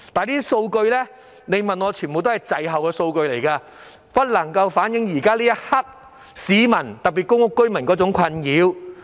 但是，那些都是滯後的數據，不能反映現時市民，特別是公屋居民的困擾。